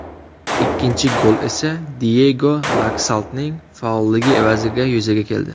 Ikkinchi gol esa Diyego Laksaltning faolligi evaziga yuzaga keldi.